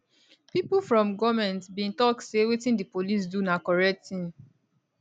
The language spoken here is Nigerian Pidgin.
pipo from goment bin tok say wetin di police do na correct tin